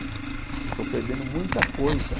Eu estou perdendo muita coisa.